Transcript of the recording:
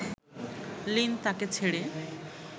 Lin তাকে ছেড়ে